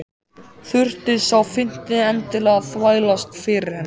Þurfti sá fimmti endilega að þvælast fyrir henni!